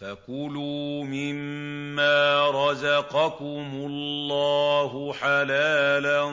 فَكُلُوا مِمَّا رَزَقَكُمُ اللَّهُ حَلَالًا